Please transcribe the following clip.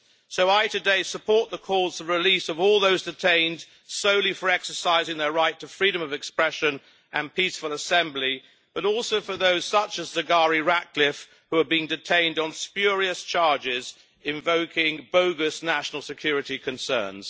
So I today support the call for the release of all those detained solely for exercising their right to freedom of expression and peaceful assembly, but also for those, such as Zaghari Ratcliffe, who are being detained on spurious charges invoking bogus national security concerns.